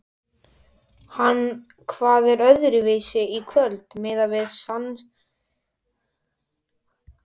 En hvað var öðruvísi í kvöld miðað við seinustu leiki?